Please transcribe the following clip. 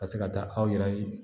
Ka se ka taa aw yɛrɛ